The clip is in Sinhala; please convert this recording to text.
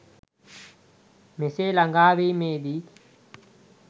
මෙසේ ළඟාවීමේ දී